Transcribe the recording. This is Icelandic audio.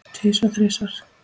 Tvisvar, þrisvar?